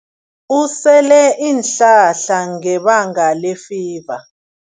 Usele iinhlahla ngebanga lefiva.